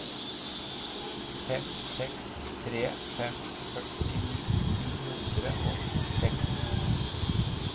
fem seks tre fem førtini ni hundre og seks